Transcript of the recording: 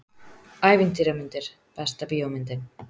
Ævintýramyndir Besta bíómyndin?